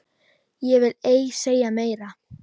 Ég vil ei segja meira.